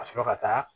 Ka sɔrɔ ka taa